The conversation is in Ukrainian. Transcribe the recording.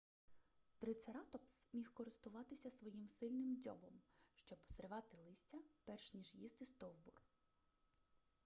трицератопс міг користуватися своїм сильним дзьобом щоб зривати листя перш ніж їсти стовбур